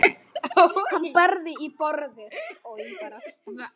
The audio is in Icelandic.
Hann barði í borðið.